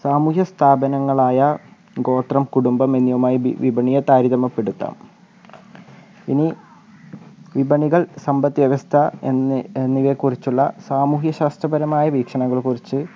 സാമൂഹ്യ സ്ഥാപനങ്ങളായ ഗോത്രം കുടുംബമെന്നിവയുമായി വി വിപണിയെ താരതമ്യപ്പെടുത്താം ഇനി വിപണികൾ സമ്പത്ത് വ്യവസ്ഥ എന്ന് എന്നിനെക്കുറിച്ചുള്ള സാമൂഹ്യശാസ്ത്രപരമായ വീക്ഷണങ്ങളെക്കുറിച്ച്